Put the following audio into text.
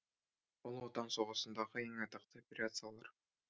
ұлы отан соғысындағы ең атақты операциялар